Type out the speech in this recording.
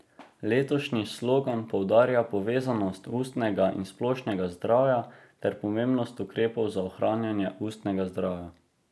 Letošnji slogan poudarja povezanost ustnega in splošnega zdravja ter pomembnost ukrepov za ohranjanje ustnega zdravja.